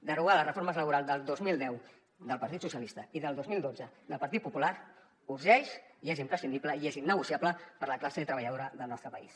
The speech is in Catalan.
derogar les reformes laborals del dos mil deu del partit socialista i del dos mil dotze del partit popular urgeix i és imprescindible i és innegociable per a la classe treballadora del nostre país